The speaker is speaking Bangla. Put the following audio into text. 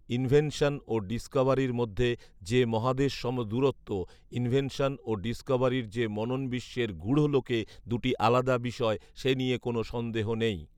ইনভেনশন ও ডিসকভারির মধ্যে যে মহাদেশসম দূরত্ব। ইনভেনশন ও ডিসকভারি যে মননবিশ্বের গূঢ়লোকে দুটি আলাদা বিষয়, সে নিয়ে কোনো সন্দেহ নেই